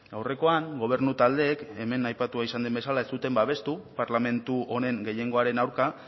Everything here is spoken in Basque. aurrekoan gobernu taldeek hemen aipatua izan den bezala ez duten babestu parlamentu honen gehiengoaren aurka